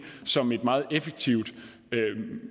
som en meget effektiv